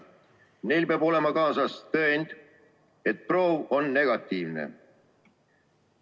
Neil peab olema kaasas tõend, et proov on negatiivne.